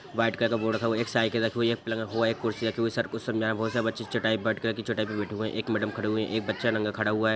White colour का board रखा हुआ है | एक साइकिल रखी हुई है पलंग हुआ एक कुर्सी रखी हुई है | सर कुछ समझा रहे हैं | बहुत सारे बच्चे चटाई पे व्हाइट कलर की चटाई पे बैठे हुए है | एक मैडम खड़ी हुई है एक बच्चा नंगा खड़ा हुआ है।